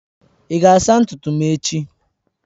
Ị ga-asa ntutu m echi?